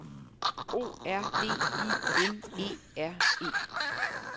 O R D I N E R E